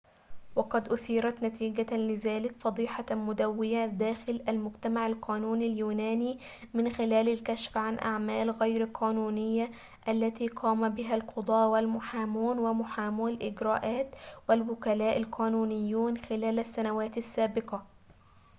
وقد أثيرت نتيجة لذلك فضيحة مدويّة داخل المجتمع القانوني اليوناني من خلال الكشف عن أعمال غير قانونية التي قام بها القضاة والمحامون ومحامو الإجراءات والوكلاء القانونيون خلال السنوات السابقة